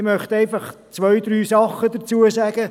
Ich möchte einfach zwei, drei Dinge dazu sagen.